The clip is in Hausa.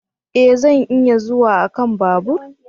E! Zan iya zuwa a kan babur.